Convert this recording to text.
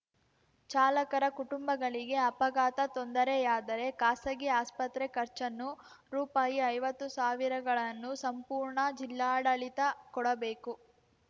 ಚಾಲಕರ ಕುಟುಂಬಗಳಿಗೆ ಅಪಘಾತ ತೊಂದರೆಯಾದರೆ ಖಾಸಗಿ ಆಸ್ಪತ್ರೆ ಖರ್ಚನ್ನು ರೂಪಾಯಿ ಐವತ್ತು ಸಾವಿರ ಗಳನ್ನು ಸಂಪೂರ್ಣ ಜಿಲ್ಲಾಡಳಿತ ಕೊಡಬೇಕು